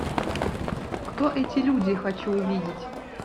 кто эти люди хочу увидеть